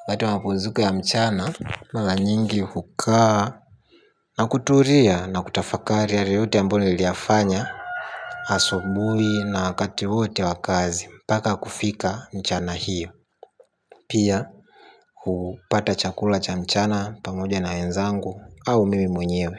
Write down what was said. Wakati wa mapumziko ya mchana, mara nyingi hukaa na kutulia na kutafakari yale yote ambayo niliyafanya asubuhi na wakati wote wa kazi mpaka kufika mchana hiyo. Pia, kupata chakula cha mchana pamoja na wenzangu au mimi mwenyewe.